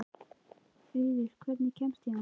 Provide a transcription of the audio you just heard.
Auður, hvernig kemst ég þangað?